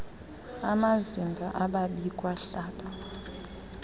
amazimba ababikwa hlaba